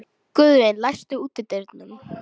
Guðvin, læstu útidyrunum.